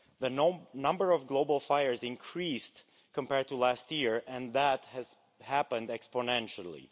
The number of global fires increased compared to last year and that has happened exponentially.